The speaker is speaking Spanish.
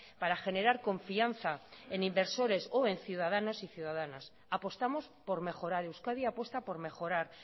para generar confianza en inversores o en ciudadanos y ciudadanas apostamos por mejorar euskadi apuesta por mejorar